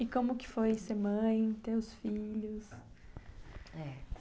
E como que foi ser mãe, ter os filhos? Eh,